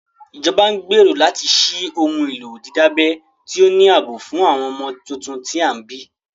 Ìjọba ń gbèrò láti ṣí ohun èlò dídábẹ́ tí ó ní ààbò fún àwọn ọmọ tuntun tí a bí